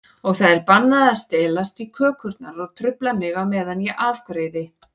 Og það er bannað að stelast í kökurnar og trufla mig á meðan ég afgreiði.